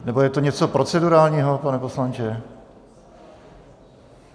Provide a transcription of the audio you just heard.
Nebo je to něco procedurálního, pane poslanče?